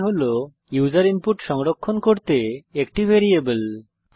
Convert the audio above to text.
i হল user input সংরক্ষণ করতে একটি ভ্যারিয়েবল